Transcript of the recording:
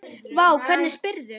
Vá, hvernig spyrðu?